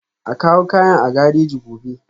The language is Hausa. A kawo kayan a gareji gobe